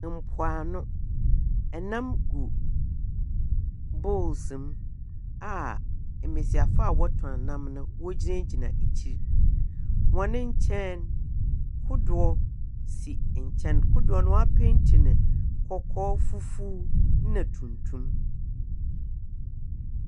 Mpoano, nam gu bowls mu a mbasiafo a wɔtɔn nam no, wogyinagyina ekyir. Hɔn nkyɛn no, kodow si nkyɛn. Kodow no, woepeentsi no kɔkɔɔ, fufuw na tuntum.